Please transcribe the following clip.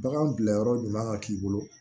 Baganw bilayɔrɔ ɲuman k'i bolo